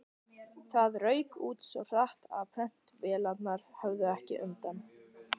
Það rauk út svo hratt, að prentvélarnar höfðu ekki undan.